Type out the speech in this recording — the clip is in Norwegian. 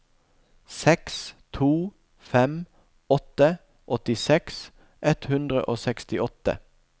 seks to fem åtte åttiseks ett hundre og sekstiåtte